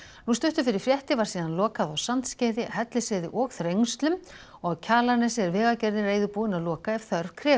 nú stuttu fyrir fréttir var lokað á Sandskeiði Hellisheiði og þrengslum og á Kjalarnesi er Vegagerðin reiðubúin að loka ef þörf krefur